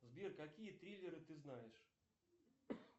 сбер какие триллеры ты знаешь